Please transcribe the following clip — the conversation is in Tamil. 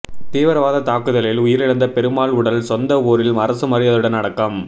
தீவிரவாத தாக்குதலில் உயிரிழந்த பெருமாள் உடல் சொந்த ஊரில் அரசு மரியாதையுடன் அடக்கம்